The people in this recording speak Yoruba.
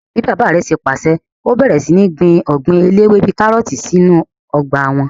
Bíi bàbá rẹ̀ ṣe pàṣẹ, ó bẹ̀rẹ̀ sí ní gbin ọgbìn eléwé bíi kárọ̀tì sí inú ọgbà wọn